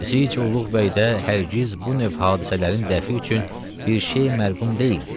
Zici Uluğ bəy də hər giz bu növ hadisələrin dəfi üçün bir şey məarqum deyildi.